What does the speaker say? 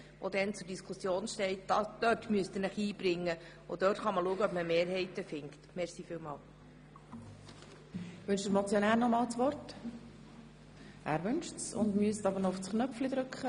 Dort steht das Steuergesetz zur Diskussion, dort müssen Sie sich einbringen und dort wird sich zeigen, ob man Mehrheiten findet.